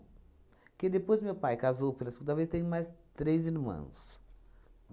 Porque depois meu pai casou pela segunda vez, tenho mais três irmãos.